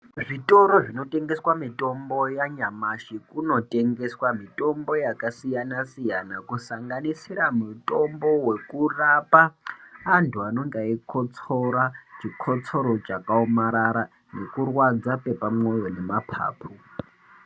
Zvitoro zvinotengeswa mitombo yanyamashi kunotengeswa mitombo yakasiyana siyana kusanganisira mitombo wekurapa anthu anenge eikotsora chikotsoro chakaomarara nekurwadza kwepamoyo nemapapu.